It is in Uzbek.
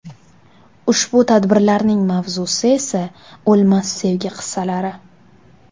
Ushbu tadbirlarning mavzusi esa o‘lmas sevgi qissalari.